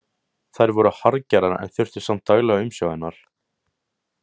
Þær voru harðgerðar en þurftu samt daglega umsjá hennar.